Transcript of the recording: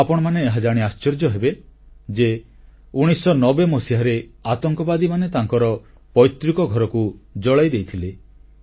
ଆପଣମାନେ ଏହାଜାଣି ଆଶ୍ଚର୍ଯ୍ୟ ହେବେ ଯେ 1990 ମସିହାରେ ଆତଙ୍କବାଦୀମାନେ ତାଙ୍କର ପୈତୃକ ଘରକୁ ଜଳାଇ ଦେଇଥିଲେ